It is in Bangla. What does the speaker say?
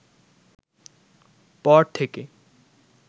পর থেকে